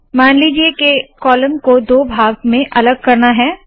मान लीजिए के कॉलम को दो भाग में अलग करना है